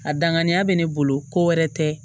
A danganiya bɛ ne bolo ko wɛrɛ tɛ